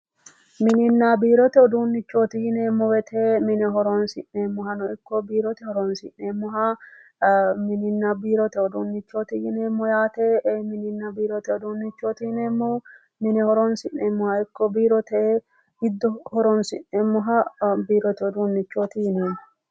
Mininna biirote uduunnichooti yineemmo wwoyte mine horoonsi'neemmohano ikko biirote horoonsi'neemmoha mininna biirote uduunnichooti yijneemmo mininninna biirote uduunnichooti yineemmohu mine horoonsi'neemmoha ikko biirote horoonsi'neemmoha biirote uduunnichooti yineemmo